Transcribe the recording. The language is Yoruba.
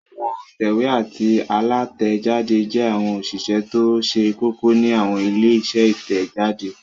Àwọn òǹtẹ̀wé àti alátẹ̀jáde jẹ́ àwọn òṣìṣẹ́ tó ṣe kókó ní àwọn ilé-iṣẹ́ Ìtẹ̀jáde.